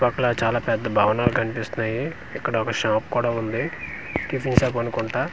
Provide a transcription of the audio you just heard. పక్కల చాలా పెద్ద భవనలు కనిపిస్తున్నాయి ఇక్కడ ఒక షాప్ కూడా ఉంది టిఫిన్ షాప్ అనుకుంటా .